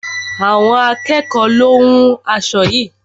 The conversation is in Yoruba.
Àwọn akẹ́ẹ̀kọ lo hún aṣo yií.